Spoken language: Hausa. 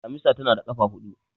damisa tana da kafa hudu